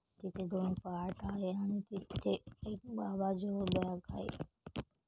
इथे दोन पाठ आहे आणि तीथे एक बाबा जिओ बॅग आहे.